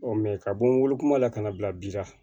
ka bɔ n wolo kuma la ka na bila bi la